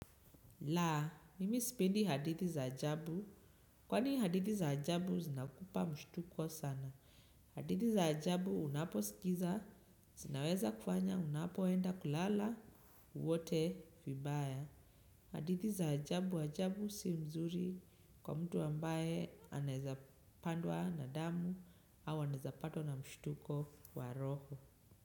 Laa, mimi sipendi hadithi za ajabu. Kwani hadithi za ajabu zinakupa mshtuko sana. Hadithi za ajabu unaposikiza, zinaweza kufanya unapoenda kulala, uote, vibaya. Hadithi za ajabu ajabu si mzuri kwa mtu ambaye anaeza pandwa na damu au anaeza patwa na mshtuko wa roho.